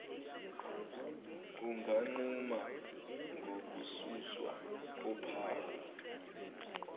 unganquma ngokususwa kophawu